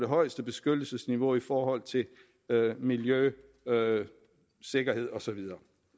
højeste beskyttelsesniveau i forhold til miljø sikkerhed og så videre